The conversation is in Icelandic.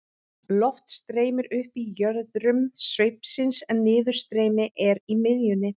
loft streymir upp í jöðrum sveipsins en niðurstreymi er í miðjunni